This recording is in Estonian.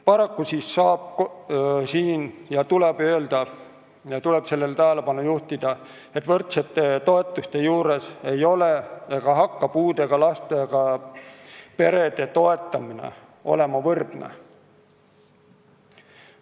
Paraku saab siin öelda ja tuleb tähelepanu juhtida sellele, et võrdsete toetuste puhul ei ole ega hakka kunagi olema puudega lastega perede toetamine võrdne.